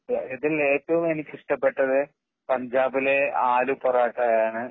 ഇതില് എനിക്ക് ഏറ്റവും ഇഷ്ടപെട്ടത് പഞ്ചാബിലെ ആലു പൊറോട്ടയാണ്.